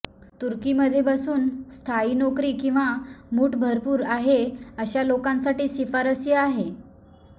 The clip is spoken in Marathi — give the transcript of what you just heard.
तुर्की मध्ये बसून स्थायी नोकरी किंवा मूठ भरपूर आहे अशा लोकांसाठी शिफारसीय आहे